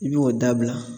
I b'o dabila